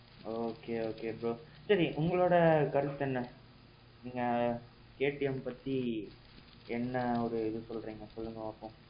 okay okay bro. சரி உங்களோட கருத்து என்ன? நீங்க KTM பத்தி என்ன ஒரு இது சொல்றீங்க சொல்லுங்க பாப்போம்?